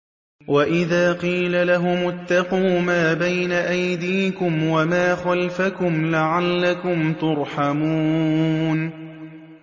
وَإِذَا قِيلَ لَهُمُ اتَّقُوا مَا بَيْنَ أَيْدِيكُمْ وَمَا خَلْفَكُمْ لَعَلَّكُمْ تُرْحَمُونَ